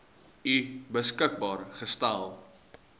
u beskikbaar gestel